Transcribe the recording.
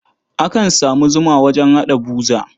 Akan sa zuma wajen haɗa buza.